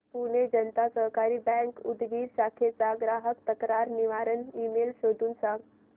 पुणे जनता सहकारी बँक उदगीर शाखेचा ग्राहक तक्रार निवारण ईमेल शोधून सांग